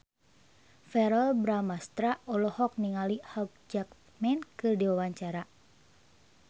Verrell Bramastra olohok ningali Hugh Jackman keur diwawancara